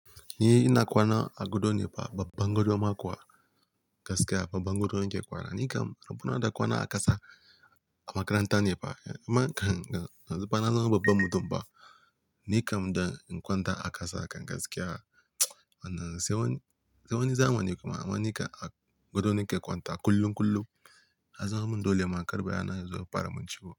Ni ina kwana a gado ne fa, babban gado ma kuwa gaskiya, babban gado nake kwana. Ni kam rabuwa na da kwana a ƙasa a makaranta ne fa. Kan yanzu na za ma babban babban mutum fa. Ni kam da in kwanta a ƙasa kam gaskiya. Wannan sai wani, sai wani zamani kuma amma ni kam a gado nake kwanta kullum kullum. Ya zama min dole ma kar bayana ya zo ya fara min ciwo.